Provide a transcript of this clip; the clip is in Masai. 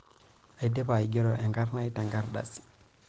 Aidipa aigero enkarnai tenkardasi.